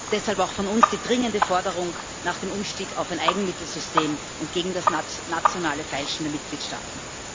Deshalb auch von uns die dringende Forderung nach dem Umstieg auf ein Eigenmittelsystem und gegen das nationale Feilschen der Mitgliedstaaten.